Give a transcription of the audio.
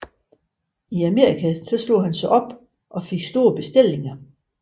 I Amerika slog han sig op og fik store bestillinger